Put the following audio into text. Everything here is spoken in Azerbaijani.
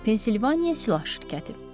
Pensilvaniya silah şirkəti.